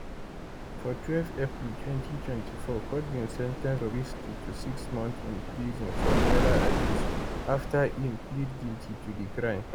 for twelve april 2024 court bin sen ten ce bobrisky to six months in prison for naira abuse afta im plead guilty to di crime